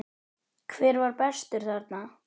Hver var bestur þarna?